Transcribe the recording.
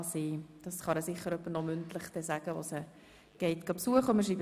Das kann ihr sicher noch jemand ausrichten, der sie besucht.